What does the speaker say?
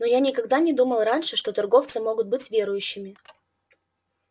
но я никогда не думал раньше что торговцы могут быть верующими